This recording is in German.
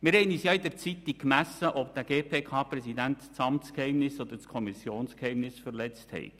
Wir haben uns ja in der Zeitung gemessen, ob der GPK-Präsident das Amtsgeheimnis oder das Kommissionsgeheimnis verletzt habe.